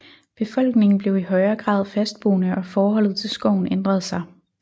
Befolkningen blev i højere grad fastboende og forholdet til skoven ændrede sig